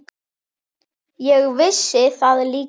Ég vissi það líka.